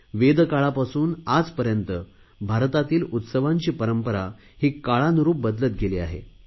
वेद काळापासून आजपर्यंत भारतातील उत्सवांची परंपरा ही काळानुरुप बदलत गेली आहे